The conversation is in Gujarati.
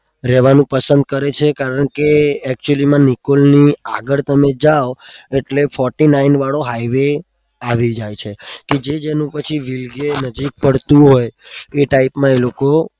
રેવાનું પસંદ કરે છે actually માં નિકોલની આગળ તમે જાઓ એટલે forty nine વાળો highway આવી જાય છે કે જે જેનું પછી